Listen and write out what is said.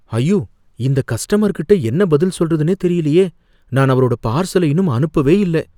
ஐயோ! இந்த கஸ்டமர்கிட்ட என்ன பதில் சொல்றதுன்னு தெரியலயே, நான் அவரோட பார்சல இன்னும் அனுப்பவே இல்ல